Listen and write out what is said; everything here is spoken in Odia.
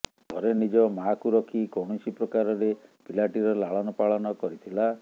ଘରେ ନିଜ ମାଆକୁ ରଖି କୌଣସି ପ୍ରକାରରେ ପିଲାଟିର ଲାଳନ ପାଳନ କରିଥିଲା